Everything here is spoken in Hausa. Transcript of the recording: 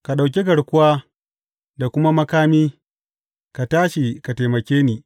Ka ɗauki garkuwa da kuma makami; ka tashi ka taimake ni.